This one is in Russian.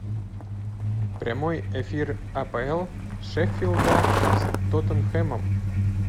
прямой эфир апл шеффилда с тоттенхэмом